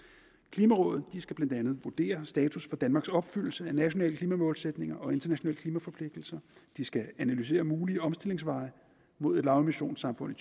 klimarådet skal blandt andet vurdere status for danmarks opfyldelse af nationale klimamålsætninger og internationale klimaforpligtelser det skal analysere mulige omstillingsveje mod et lavemissionssamfund i